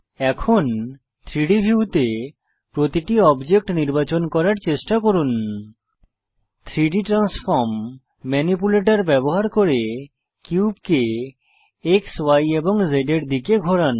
এখন 3ডি ভিউতে প্রতিটি অবজেক্ট নির্বাচন করার চেষ্টা করুন 3ডি ট্রান্সফর্ম ম্যানিপ্যুলেটর ব্যবহার করে কিউবকে এক্স Y এবং Z এর দিকে ঘোরান